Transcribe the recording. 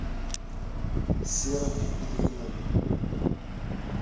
серым ильиным